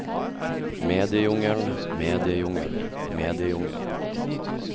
mediejungelen mediejungelen mediejungelen